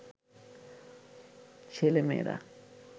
ছেলে-মেয়েরা